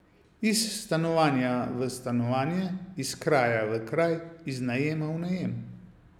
Iz stanovanja v stanovanje, iz kraja v kraj, iz najema v najem.